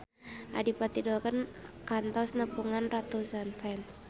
Adipati Dolken kantos nepungan ratusan fans